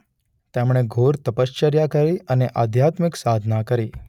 તેમણે ઘોર તપશ્ચર્યા કરી અને આધ્યાત્મીક સાધના કરી.